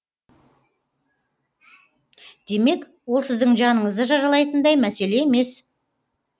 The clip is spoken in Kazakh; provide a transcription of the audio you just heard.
демек ол сіздің жаныңызды жаралайтындай мәселе емес